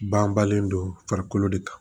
Ban balen do farikolo de kan